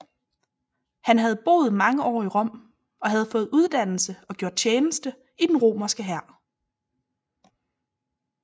Han havde boet mange år i Rom og havde fået uddannelse og gjort tjeneste i den romerske hær